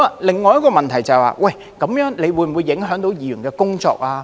另一個問題是，這樣會否影響議員的工作呢？